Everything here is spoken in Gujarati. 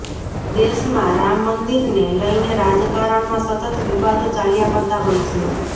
દેશમાં રામ મંદિરને લઈને રાજકારણમાં સતત વિવાદો ચાલ્યા કરતા હોય છે